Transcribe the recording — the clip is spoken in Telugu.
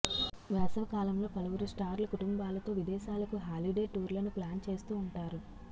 వేసవి కాలంలో పలువురు స్టార్లు కుటుంబాలతో విదేశాలకు హాలిడే టూర్లను ప్లాన్ చేస్తూ ఉంటారు